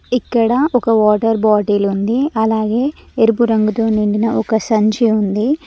ఇక్కడ ఒక water bottle ఉంది అలాగే ఎరుపు రంగుతో నిండిన ఒక సంచి ఉంది.